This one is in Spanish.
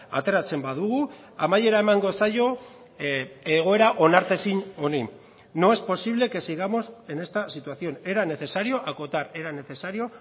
ateratzen badugu amaiera emango zaio egoera onartezin honi no es posible que sigamos en esta situación era necesario acotar era necesario